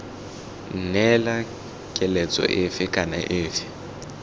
neela keletso efe kana efe